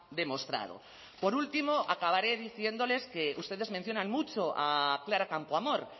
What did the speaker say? demostrado por último acabaré diciéndoles que ustedes mencionan mucho a clara campoamor